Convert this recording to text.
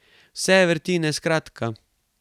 Vse vrtnine, skratka.